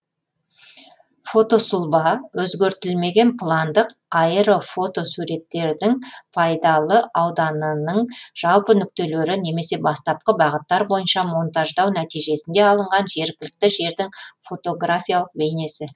фотосұлба өзгертілмеген пландық аэрофотосуреттердің пайдалы ауданының жалпы нүктелері немесе бастапқы бағыттар бойынша монтаждау нәтижесінде алынған жергілікті жердің фотографиялық бейнесі